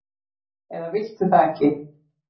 eða viltu það ekki?